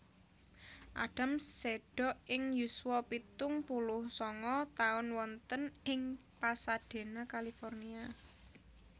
Adams seda ing yuswa pitung puluh sanga taun wonten ing Pasadena California